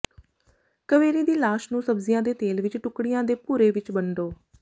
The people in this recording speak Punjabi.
ਕਵੇਰੀ ਦੀ ਲਾਸ਼ ਨੂੰ ਸਬਜ਼ੀਆਂ ਦੇ ਤੇਲ ਵਿੱਚ ਟੁਕੜਿਆਂ ਤੇ ਭੂਰੇ ਵਿੱਚ ਵੰਡੋ